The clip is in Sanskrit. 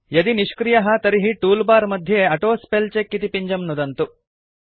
यदि निष्क्रियः तर्हि टूल बार मध्ये ऑटोस्पेलचेक इति पिञ्जं नुदन्तु